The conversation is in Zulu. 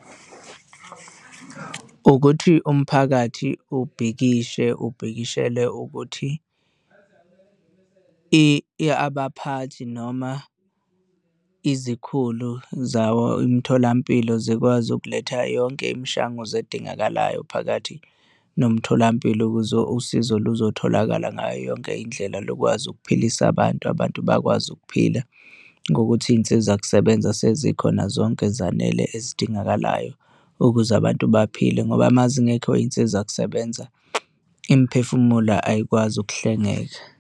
Ukuthi umphakathi ubhikishe, ubhikishele ukuthi abaphathi noma izikhulu zawo imitholampilo zikwazi ukuletha yonke imishanguzo edingakalayo phakathi nomtholampilo, ukuze usizo luzotholakala ngayo yonke indlela lukwazi ukuphilisa abantu, abantu bakwazi ukuphila ngokuthi iy'nsiza kusebenza sezikhona zonke ezanele ezidingakalayo ukuze abantu baphile ngoba uma zingekho iy'nsiza kusebenza imiphefumulo ayikwazi ukuhlengeka.